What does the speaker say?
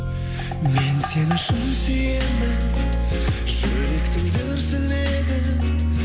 мен сені шын сүйемін жүректің дүрсілі едің